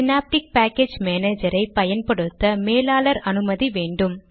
synaptic package மானேஜரை பயன்படுத்த மேலாளர் அனுமதி வேண்டும்